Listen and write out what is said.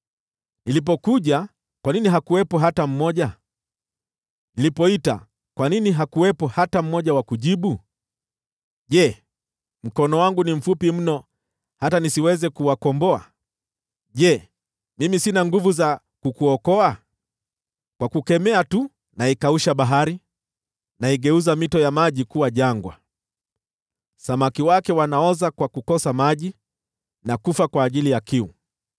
Nilipokuja, kwa nini hakuwepo hata mmoja? Nilipoita, kwa nini hakuwepo hata mmoja wa kujibu? Je, mkono wangu ni mfupi mno hata nisiweze kuwakomboa? Je, mimi sina nguvu za kukuokoa? Kwa kukemea tu naikausha bahari, naigeuza mito ya maji kuwa jangwa; samaki wake wanaoza kwa kukosa maji na kufa kwa ajili ya kiu.